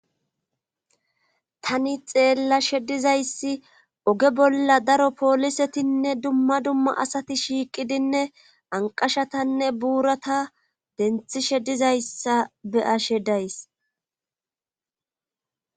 Tani xeella sheddizayssi oge bolla daro poolisetinne dumma dumma asati shiiqidinne anqashatanne buurata denthi shedizayssa beyashe days